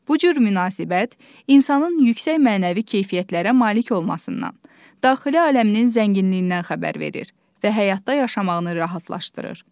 Bu cür münasibət insanın yüksək mənəvi keyfiyyətlərə malik olmasından, daxili aləminin zənginliyindən xəbər verir və həyatda yaşamağını rahatlaşdırır.